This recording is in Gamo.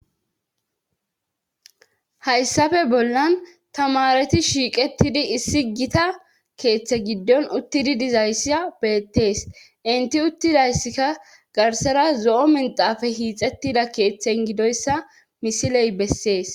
hayssafe bollan tamareti shiiqettidi issi gita keeththe giddon uttidi dizayssa beettees inti uttidayssika garsera zo7o minxafe hiixettida keeththen gidoyssa misiley bessees